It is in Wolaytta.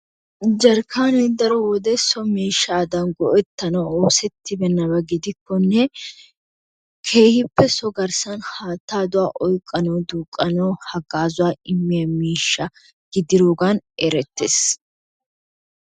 Jarkkaanee daro wode so miishshaadan go"ettanawu oosettibeenabaa gidiyakkonne keehippe so garssan haattaa de'uwa oyqanawu duuqanawu hagaazaa immiya miishshaa gidiroogan erettees.